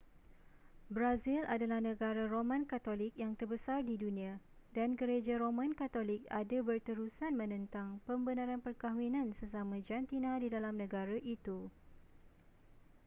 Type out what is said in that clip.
brazil adalah negara roman katolik yang terbesar di dunia dan gereja roman katolik ada berterusan menentang pembenaran perkahwinan sesama jantina di dalam negara itu